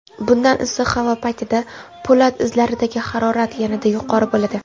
bunday issiq havo paytida po‘lat izlardagi harorat yanada yuqori bo‘ladi.